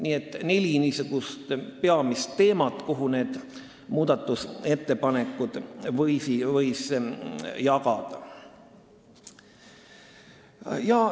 Nii et neli peamist teemat, nii võiks neid muudatusettepanekud jagada.